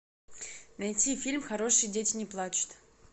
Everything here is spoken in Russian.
найти фильм хорошие дети не плачут